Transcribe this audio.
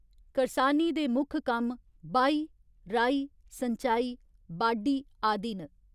करसानी दे मुक्ख कम्म बाही, राही, संचाई, बाढी आदि न।